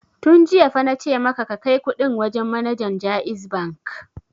Tun jiya fa na ce maka ka kai kuɗin wajen manajan JAIZ Bank!